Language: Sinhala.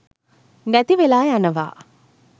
නැතිවෙලා යනවා